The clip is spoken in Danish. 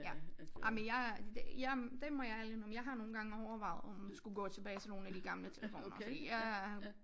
Ja ej men jeg det jeg det må jeg ærligt indrømme jeg har nogen gange overvejet om skulle gå tilbage til nogle af de gamle telefoner fordi jeg